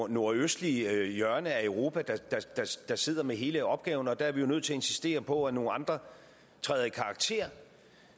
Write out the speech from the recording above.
nordøstlige hjørne af europa der sidder med hele opgaven og der er vi nødt til at insistere på at nogle andre træder i karakter